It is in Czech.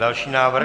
Další návrh.